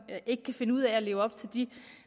ikke kan finde ud af at leve op til de